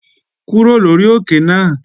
Kúrò lórí òkè náà!